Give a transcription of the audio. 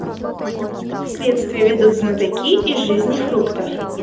следствие ведут знатоки из жизни фруктов